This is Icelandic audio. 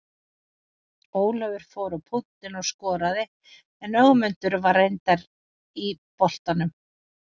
Ólafur fór á punktinn og skoraði en Ögmundur var reyndar í boltanum.